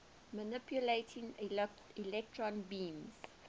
manipulating electron beams